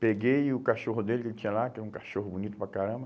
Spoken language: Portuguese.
Peguei o cachorro dele que ele tinha lá, que era um cachorro bonito para caramba.